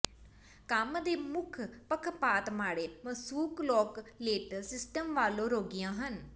ਕੰਮ ਦੇ ਮੁੱਖ ਪੱਖਪਾਤ ਮਾੜੇ ਮਸੂਕਲੋਕਲੇਟਲ ਸਿਸਟਮ ਵਾਲੇ ਰੋਗੀਆਂ ਹਨ